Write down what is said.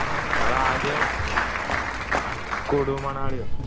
ഞങ്ങളാദ്യം Kullu മണാലിയോ